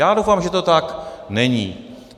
Já doufám, že to tak není.